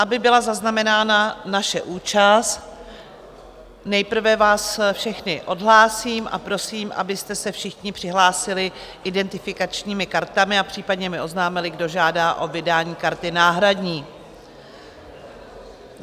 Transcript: Aby byla zaznamenána naše účast, nejprve vás všechny odhlásím a prosím, abyste se všichni přihlásili identifikačními kartami a případně mi oznámili, kdo žádá o vydání karty náhradní.